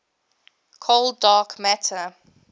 cold dark matter